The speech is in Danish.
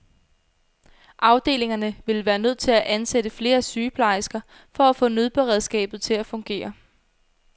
Afdelingerne ville være nødt til at ansætte flere sygeplejersker for at få nødberedskabet til at fungere.